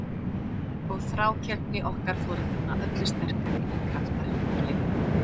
Og þrákelkni okkar foreldranna öllu sterkari en kraftar hennar leyfðu.